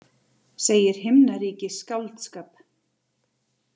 Segir himnaríki skáldskap